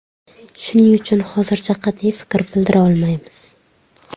Shuning uchun hozircha qat’iy fikr bildira olmaymiz.